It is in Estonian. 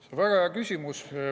See on väga hea küsimus.